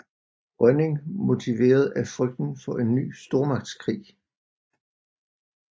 Rønning motiveret af frygten for en ny stormagtskrig